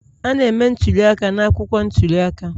A na-eme ntuli aka n'akwụkwọ ntuli aka